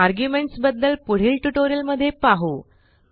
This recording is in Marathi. आर्ग्युमेंट्स बद्दल पुढील ट्युटोरियलमध्ये पाहू